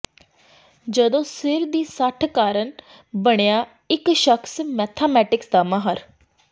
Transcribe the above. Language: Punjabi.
ਜਦੋਂ ਸਿਰ ਦੀ ਸੱਟ ਕਾਰਨ ਬਣਿਆ ਇਕ ਸ਼ਖਸ ਮੈਥਮੈਟਿਕਸ ਦਾ ਮਾਹਰ